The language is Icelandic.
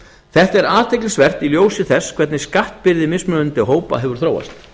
þetta er athyglisvert í ljósi þess hvernig skattbyrði mismunandi hópa hefur þróast